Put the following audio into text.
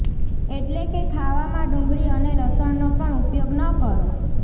એટલે કે ખાવામાં ડુંગળી અને લસણનો પણ ઉપયોગ ન કરો